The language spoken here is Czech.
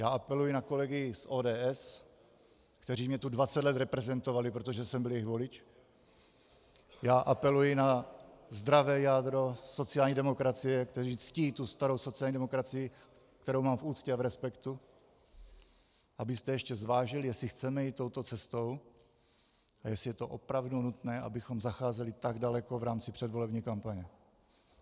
Já apeluji na kolegy z ODS, kteří mě tu 20 let reprezentovali, protože jsem byl jejich volič, já apeluji na zdravé jádro sociální demokracie, které ctí tu starou sociální demokracii, kterou mám v úctě a v respektu, abyste ještě zvážili, jestli chceme jít touto cestou a jestli je to opravdu nutné, abychom zacházeli tak daleko v rámci předvolební kampaně.